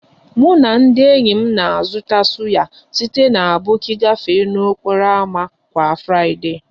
Mụ na ndị enyi m na-azụta suya site na aboki gafee n'okporo ámá kwa Friday